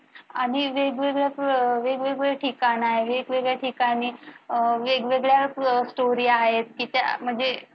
आणि वेगवेगळ्या वेगवेगळ्या ठिकाण आहे वेगवेगळ्या ठिकाणी वेगवेगळ्या story आहेत की त्या म्हणजे